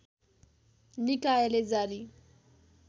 निकायले जारी